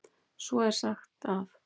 Svo er sagt að.